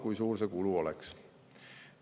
Kui suur see kulu oleks?